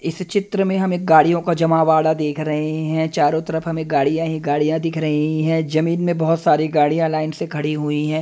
इस चित्र में हमें गाड़ियों का जमावड़ा देख रहे हैं। चारों तरफ हमें गाड़ियां ही गाड़ियां दिख रही है। जमीन में बहोत सारी गाड़ियां लाइन से खड़ी हुई है।